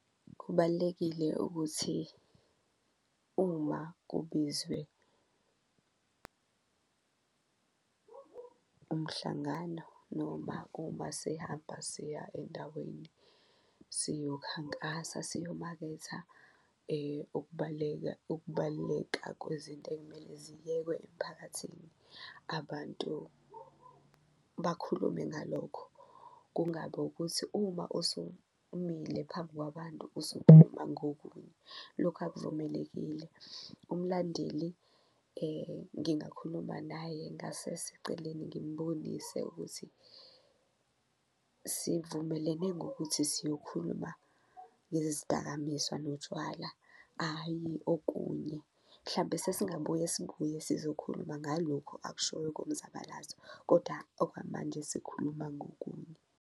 Kubalulekile ukuthi uma kubizwe umhlangano noma uma sehamba siya endaweni siyokhankasa, siyomaketha ukubaluleka kwezinto ekumele ziyekwe emphakathini, abantu bakhulume ngalokho kungabi ukuthi uma usumile phambi kwabantu, ngokunye. Lokhu akuvumelekile, umlandeli ngingakhuluma naye ngasese eceleni ngimbonise ukuthi sivumelene ngokuthi siyokhuluma ngezidakamizwa notshwala, ayi okunye, mhlampe sesingabuye sibuye sizokhuluma ngalokhu akushoyo komzabalazo koda okwamanje sikhuluma ngokunye.